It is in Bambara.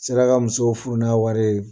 N sera ka muso furu n'a wari ye